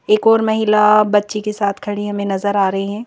एक और महिला बच्ची के साथ खड़ी हमें नजर आ रही हैं।